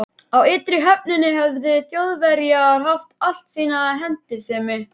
Á ytri höfninni höfðu Þjóðverjar haft alla sína hentisemi.